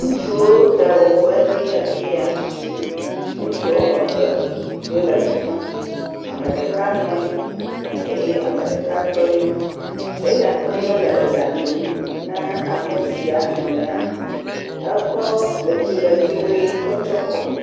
Ŋutsuwo ɖawɔƒe nye afi ya, ŋutsu woame eve ye le afi ma, ame ɖeka nɔ anyi, eye ame ɖeka tɔ ɖi, eya tɔ ɖi le eɖa lum na ame sia nɔ anyia, ekɔ etsiletsɛ ʋe kɔ tsyɔ kɔme